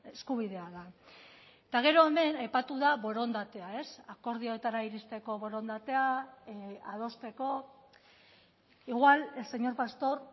eskubidea da eta gero hemen aipatu da borondatea akordioetara iristeko borondatea adosteko igual el señor pastor